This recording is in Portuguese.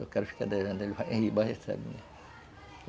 Eu quero ficar devendo, recebe, né?